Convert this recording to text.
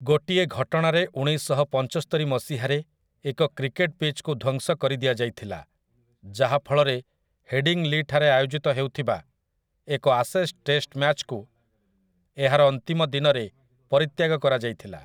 ଗୋଟିଏ ଘଟଣାରେ ଉଣେଇଶଶହପଞ୍ଚସ୍ତରି ମସିହାରେ ଏକ କ୍ରିକେଟ୍ ପିଚ୍‌କୁ ଧ୍ୱଂସ କରିଦିଆଯାଇଥିଲା, ଯାହାଫଳରେ ହେଡ଼ିଂଲିଠାରେ ଆୟୋଜିତ ହେଉଥିବା ଏକ 'ଆଶେସ୍' ଟେଷ୍ଟ୍ ମ୍ୟାଚ୍ କୁ ଏହାର ଅନ୍ତିମ ଦିନରେ ପରିତ୍ୟାଗ କରାଯାଇଥିଲା ।